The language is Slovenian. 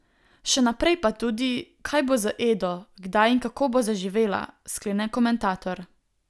Še naprej pa tudi, kaj bo z Edo, kdaj in kako bo zaživela, sklene komentator.